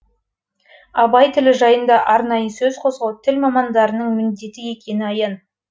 абай тілі жайында арнайы сөз қозғау тіл мамандарының міндеті екені аян